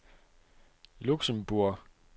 Luxembourg